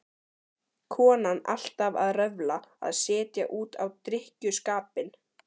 Konan alltaf að röfla, að setja út á drykkjuskapinn.